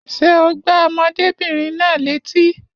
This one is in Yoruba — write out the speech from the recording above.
Ṣé o gbá ọmọdébìnrin náà létí?